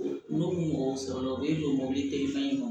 N'o mɔgɔw sɔrɔla u bɛ don mɔbili te fɛnɲɛni ma